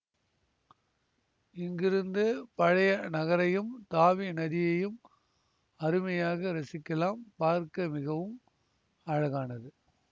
இங்கிருந்து பழைய நகரையும் தாவி நதியையும் அருமையாக ரசிக்கலாம் பார்க்க மிகவம் அழகானது